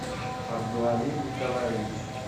абдуалим николаевич